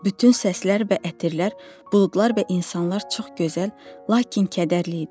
Bütün səslər və ətirlər, buludlar və insanlar çox gözəl, lakin kədərli idi.